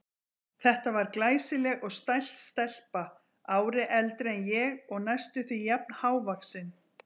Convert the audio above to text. Þetta var glæsileg og stælt stelpa, ári eldri en ég og næstum því jafn hávaxin.